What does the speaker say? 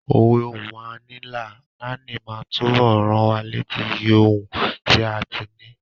Òwe "Ohun a ní là ń náání" máa túbọ̀ rán wa létí iyì ohun tí a ti ní.